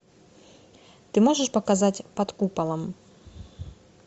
ты можешь показать под куполом